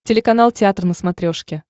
телеканал театр на смотрешке